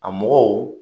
A mɔgɔw